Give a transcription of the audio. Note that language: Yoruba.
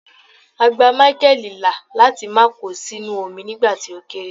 a gba Michael la láti ma ko sínú omi nigba ti o kere